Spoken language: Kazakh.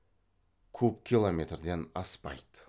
куб километрден аспайды